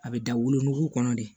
A bɛ da wolonugu kɔnɔ de